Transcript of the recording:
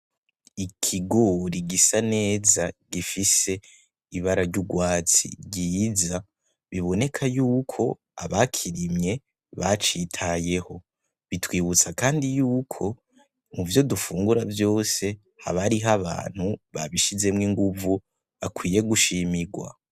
Ikigori gisa neza gifise ibara ry'ugwatsi ryiza biboneka y’uko abakirimye bacitayeho bitwibutsa kandi y’uko muvyo dufungura vyose haba hariho abantu babishizemwo inguvu bakwiye gushimigwa.